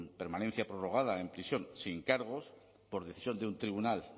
permanencia prorrogada en prisión sin cargos por decisión de un tribunal